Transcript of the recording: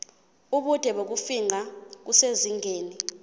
ubude bokufingqa kusezingeni